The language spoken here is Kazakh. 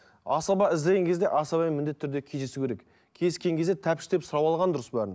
асаба іздеген кезде асабамен міндетті түрде кездесу керек кездескен кезде тәптіштеп сұрап алған дұрыс бәрін